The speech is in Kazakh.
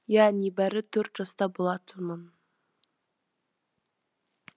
иә небәрі төрт жаста болатынмын